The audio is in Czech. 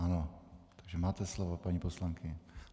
Ano, takže máte slovo, paní poslankyně.